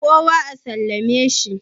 kowa a sallame shi?